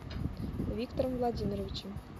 виктором владимировичем